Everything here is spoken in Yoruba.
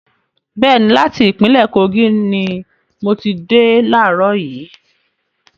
Bẹ́ẹ̀ni, láti ìpínlẹ́ Kogi ni mo ti dé laarọ̀ yìí